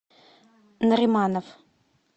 нариманов